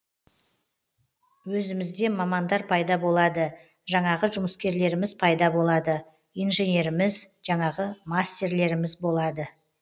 өзімізде мамандар пайда болады жаңағы жұмыскерлеріміз пайда болады инженеріміз жаңағы мастерлеріміз болады